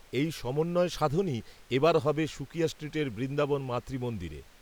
এই সমন্বয় সাধনই, এ বার হবে, সুকিয়া স্ট্রিটের বৃন্দাবন মাতৃমন্দিরে